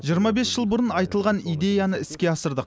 жиырма бес жыл бұрын айтылған идеяны іске асырдық